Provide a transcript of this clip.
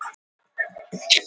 Ég finn bein í bjúganu.